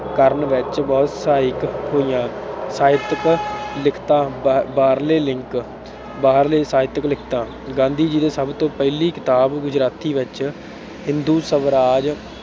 ਕਰਨ ਵਿੱਚ ਬਹੁਤ ਸਹਾਇਕ ਹੋਈਆਂ। ਸਾਹਿਤਕ ਲਿਖਤਾਂ, ਬਾਹਰਲੇ link ਬਾਹਰਲੇ ਸਾਹਿਤਕ ਲਿਖਤਾਂ ਗਾਂਧੀ ਜੀ ਦੀ ਸਭ ਤੋਂ ਪਹਿਲੀ ਕਿਤਾਬ ਗੁਜਰਾਤੀ ਵਿੱਚ ਹਿੰਦੂ ਸਵਰਾਜ